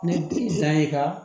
Ne bi san ye ka